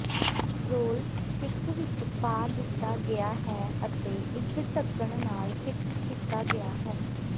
role stick ਵਿਚ ਪਾ ਦਿੱਤਾ ਗਿਆ ਹੈ ਅਤੇ ਇਕ ਢੱਕਣ ਨਾਲ ਫਿਕਸ ਕੀਤਾ ਗਿਆ ਹੈ